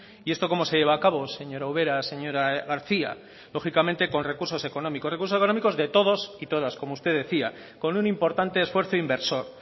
y esto cómo se lleva a cabo señora ubera señora garcía lógicamente con recursos económicos con recursos económicos de todos y todas como usted decía con un importante esfuerzo inversor